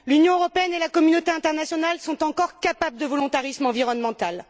L'Union européenne et la communauté internationale sont encore capables de volontarisme environnemental.